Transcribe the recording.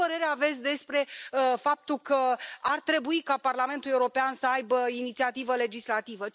Ce părere aveți despre faptul că ar trebui ca Parlamentul European să aibă inițiativă legislativă?